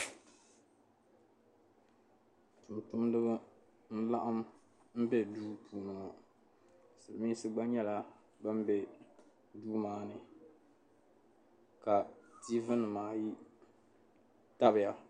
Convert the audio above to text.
Tuntumdiba n-laɣim be duu puuni Silimiinsi gba nyɛla ban be duu maa ni ka tiivinima ayi tabiya.